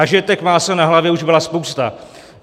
A že těch másel na hlavě už byla spousta.